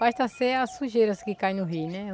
Basta ser as sujeiras que caem no rio, né?